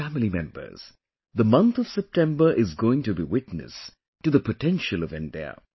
My family members, the month of September is going to be witness to the potential of India